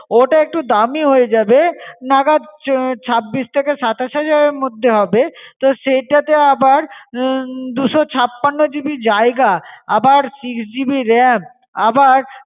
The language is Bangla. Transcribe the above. ওটা একটু দামী হয়ে যাবে নাগাদ আহ ছাব্বিশ থেকে সাতাশ হাজার এর মধ্যে হবে, তো সেটা তে আবার হম দুইশো ছাপ্পান্ন GB জায়গা, আবার SIX GB RAM, আবার